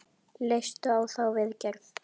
Leistu á þá viðgerð?